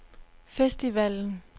festivalen